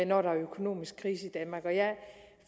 når der er økonomisk krise i danmark